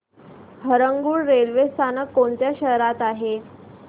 Harangul railway स्थानक कोणत्या शहरात आहे